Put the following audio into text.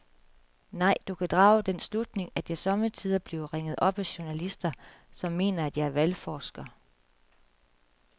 Nej, du kan drage den slutning, at jeg sommetider bliver ringet op af journalister, som mener, at jeg er valgforsker.